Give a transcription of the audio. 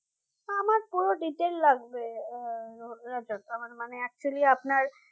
আমার পুরো detail লাগবে আহ দরকার মানে actually আপনার